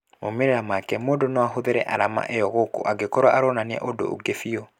Maumĩrĩra make mũndũ no ahũthĩre arama ĩyo gũkũ agĩkorwo aronania ũndũ ũngĩ biũ